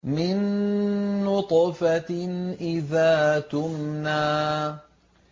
مِن نُّطْفَةٍ إِذَا تُمْنَىٰ